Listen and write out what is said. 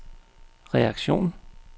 reaktion